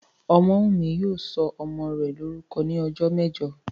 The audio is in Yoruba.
Ọmọ́wùnmí yóò sọ ọmọ rẹ̀ lórúkọ ní ọjọ́ mẹ́jọ